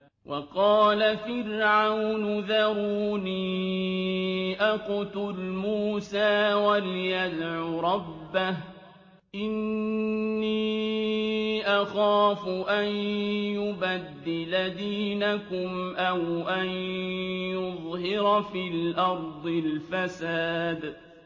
وَقَالَ فِرْعَوْنُ ذَرُونِي أَقْتُلْ مُوسَىٰ وَلْيَدْعُ رَبَّهُ ۖ إِنِّي أَخَافُ أَن يُبَدِّلَ دِينَكُمْ أَوْ أَن يُظْهِرَ فِي الْأَرْضِ الْفَسَادَ